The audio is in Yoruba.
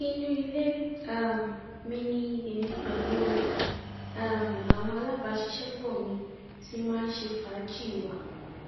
inú ilé um mi ni èmi pẹlú um àwọn alábàáṣiṣẹpọ mi ti máa ń ṣe fàájì wa